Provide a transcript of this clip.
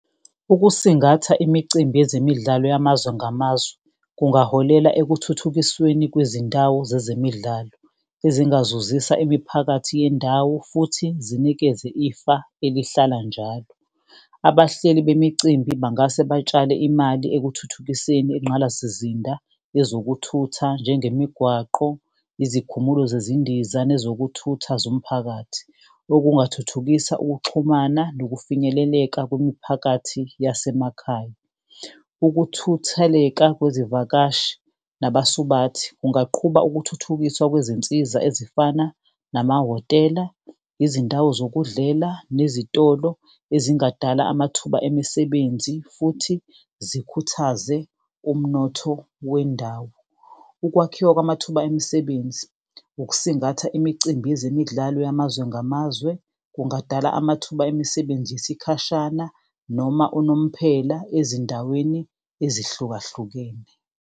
Ukusingatha imicimbi yezemidlalo yamazwe ngamazwe kungaholela ekuthuthukisweni kwezindawo zezemidlalo. Ezingazuzisa imiphakathi yendawo futhi zinikeze ifa elihlala njalo. Abahleli bemicimbi bangase batshale imali ekuthuthukiseni ingqalasizinda yezokuthutha njengemigwaqo, izikhumulo zezindiza, nezokuthutha zomphakathi. Okungathuthukisa ukuxhumana nokufinyeleleka kwemiphakathi yasemakhaya. Ukuthutheleka kwezivakashi nabasubathi kungaqhuba ukuthuthukiswa kwezinsiza ezifana namahhotela. Izindawo zokudlela nezitolo ezingadala amathuba emisebenzi, futhi zikhuthaze umnotho wendawo. Ukwakhiwa kwamathuba emisebenzi, ukusingatha imicimbi yezemidlalo yamazwe ngamazwe. Kungadala amathuba emisebenzi yesikhashana noma unomphela ezindaweni ezihlukahlukene.